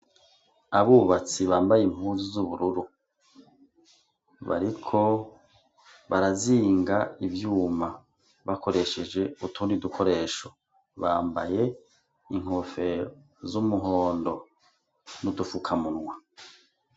Abubatsi bambaye impuzu z'ubururu bariko barazinga ivyuma bakoresheje utundi dukoresho, bambaye inkofero z'umuhondo n'udufukamunwa.